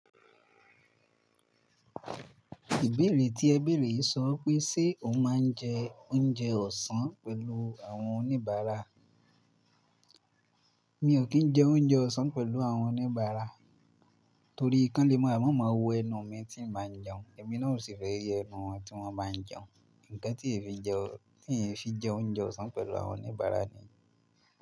Ìbéèrè tí ẹ béèrè yìí sọ pé ṣe o máa ń jẹ oúnjẹ ọ̀sán pẹ̀lú àwọn oníbàárà? Mi ò kí ń jẹ oúnjẹ ọ̀sán pẹ̀lú àwọn oníbàárà torí kán le mọ wó ẹnu mi tí ń máa jẹun, èmi náà ò sì fẹ́ yé ẹnu wọn tí wọ́n bá ń jẹun. Ǹkan tí è fi jẹ́un tí fi jẹ oúnjẹ ọ̀sán pẹ̀lú àwọn oníbàárà ni.